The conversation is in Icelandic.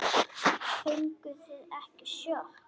Fenguð þið ekki sjokk?